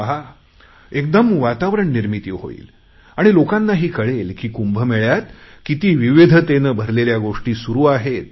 पहा एकदम वातावरण निर्मिती होईल आणि लोकांनाही कळेल की कुंभमेळ्यात किती विविधतेने भरलेल्या गोष्टी सुरु आहेत